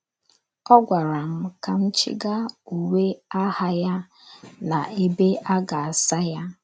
Ọ gwara m ka m chịga uwe agha ya n’ebe a ga - asa ya.